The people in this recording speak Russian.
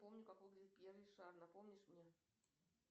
помню как выглядит пьер ришар напомнишь мне